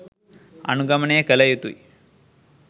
අනුගමනය කළ යුතු යි.